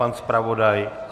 Pan zpravodaj?